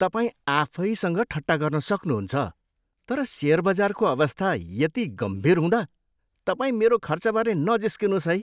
तपाईँ आफैसँग ठट्टा गर्न सक्नुहुन्छ तर सेयर बजारको अवस्था यति गम्भीर हुँदा तपाईँ मेरो खर्चबारे नजिस्किनुहोस् है।